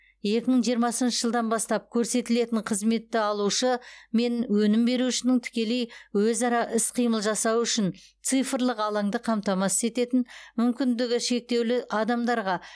екі мың жиырмасыншы жылдан бастап көрсетілетін қызметті алушы мен өнім берушінің тікелей өзара іс қимыл жасауы үшін цифрлық алаңды қамтатасыз ететін мүмкіндігі шектеулі адамдарға